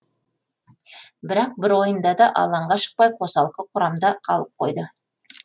бірақ бір ойында да алаңға шықпай қосалқы құрамда қалып қойды